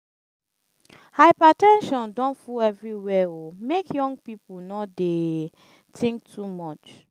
hyper ten sion don full everywhere o make young pipu no dey tink too much.